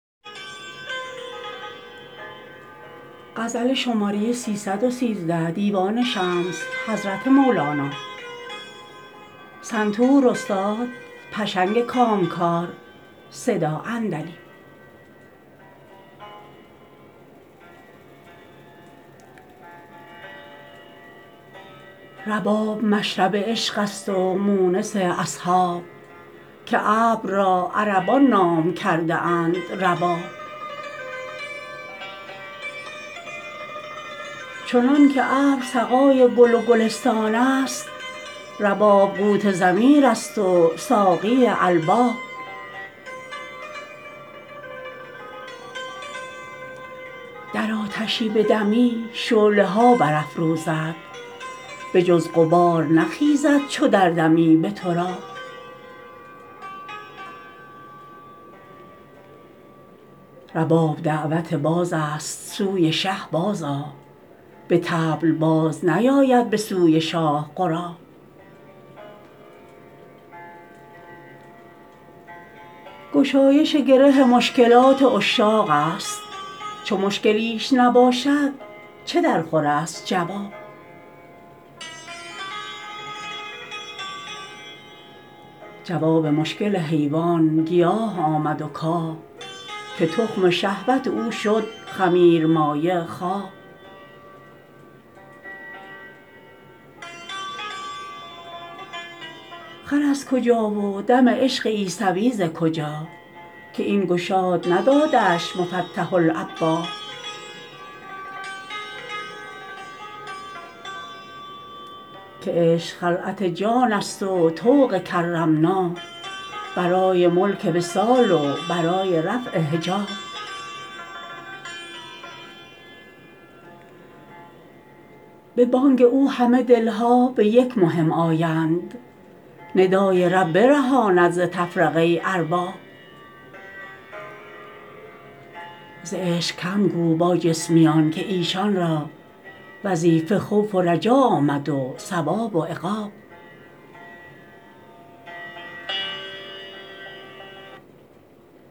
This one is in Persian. رباب مشرب عشقست و مونس اصحاب که ابر را عربان نام کرده اند رباب چنانک ابر سقای گل و گلستانست رباب قوت ضمیرست و ساقی الباب در آتشی بدمی شعله ها برافروزد بجز غبار نخیزد چو دردمی به تراب رباب دعوت بازست سوی شه بازآ به طبل باز نیاید به سوی شاه غراب گشایش گره مشکلات عشاقست چو مشکلیش نباشد چه درخورست جواب جواب مشکل حیوان گیاه آمد و کاه که تخم شهوت او شد خمیرمایه خواب خر از کجا و دم عشق عیسوی ز کجا که این گشاد ندادش مفتح الابواب که عشق خلعت جانست و طوق کرمنا برای ملک وصال و برای رفع حجاب به بانگ او همه دل ها به یک مهم آیند ندای رب برهاند ز تفرقه ارباب ز عشق کم گو با جسمیان که ایشان را وظیفه خوف و رجا آمد از ثواب و عقاب